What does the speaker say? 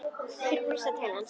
Þeir brosa til hans.